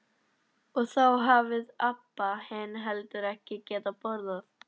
Og þá hafði Abba hin heldur ekki getað borðað.